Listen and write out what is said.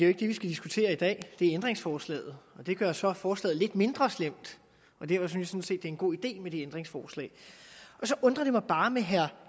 ikke det vi skal diskutere i dag det er ændringsforslaget det gør så forslaget lidt mindre slemt og derfor synes det er en god idé med det ændringsforslag så undrer det mig bare med herre